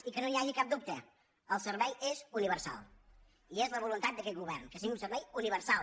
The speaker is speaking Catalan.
i que no n’hi hagi cap dubte el servei és universal i és la voluntat d’aquest govern que sigui un servei universal